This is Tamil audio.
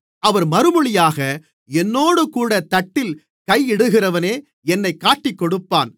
அவர் மறுமொழியாக என்னோடுகூடத் தட்டில் கையிடுகிறவனே என்னைக் காட்டிக்கொடுப்பான்